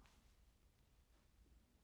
05:03: P4 Natradio